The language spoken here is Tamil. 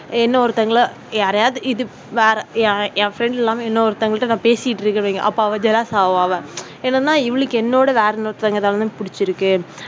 என்ன ஒருதங்களை யாராவது இது வேற என் என் friend இல்லாம இன்னொருத்தவங்க நான் பேசிட்டு இருக்கேன்னு வைங்க, அப்ப அவ வந்து jealous ஆவா என்னன்னா இவளுக்கு என்னோட வேற ஒருத்தவங்களுக்கு தான் புடிச்சிருக்கு.